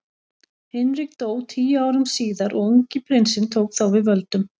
Hinrik dó tíu árum síðar og ungi prinsinn tók þá við völdum.